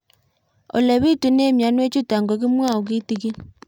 Ole pitune mionwek chutok ko kimwau kitig'ín